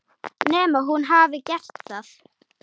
Nema hún hafi gert það.